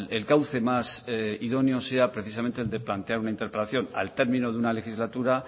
el cauce más idónea sea precisamente el de plantear una interpelación al término de una legislatura